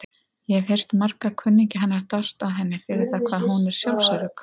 Ég hef heyrt marga kunningja hennar dást að henni fyrir það hvað hún er sjálfsörugg.